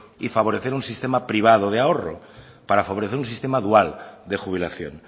y favorecer un sistema privado de ahorro para favorecer un sistema dual de jubilación